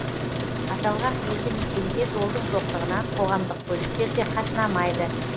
аталған елді мекенге жолдың жоқтығынан қоғамдық көліктер де қатынамайды